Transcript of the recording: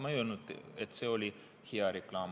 Ma ei öelnud, et see oli hea reklaam.